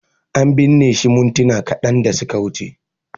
An binne shi mintuna kadan da suka wuce